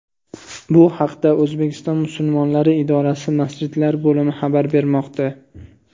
Bu haqda O‘zbekiston musulmonlari idorasi Masjidlar bo‘limi xabar bermoqda .